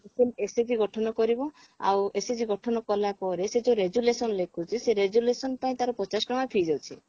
ପ୍ରଥମେ SHG ଗଠନ କରିବ ଆଉ SHG ଗଠନ କଲା ପରେ ସେ ଯଉ resolution ଲେଖୁଛି ସେଇ resolution ପାଇଁ ତାର ପଚାଶ ଟଙ୍କା fees ଅଛି